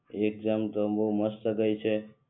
exam તો બહુ મસ્ત ગઈ છે